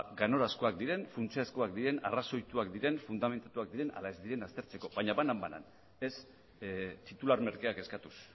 ganorazkoak diren funtsezkoak diren arrazoituak diren fundamentuzkoak diren ala ez aztertzeko baina banan banan ez titular merkeak eskatuz